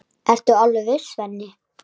Ertu alveg viss, Svenni?